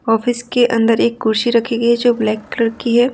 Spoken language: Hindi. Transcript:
ऑफिस के अंदर एक कुर्सी रखी गई है जो ब्लैक कलर की है।